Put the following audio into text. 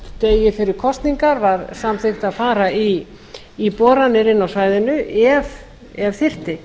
degi fyrir kosningar var samþykkt að fara í boranir inni á svæðinu ef þyrfti